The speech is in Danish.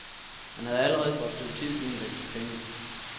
Han havde allerede for et stykke tid siden vekslet penge.